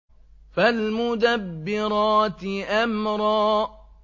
فَالْمُدَبِّرَاتِ أَمْرًا